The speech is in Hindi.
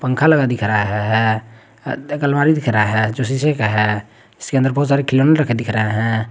खाली हॉल दिख रहा है एक अलमारी दिख रहा है जो शीशे का है जिसके अंदर बहुत सारे खिलोने रखे दिख रहे हैं।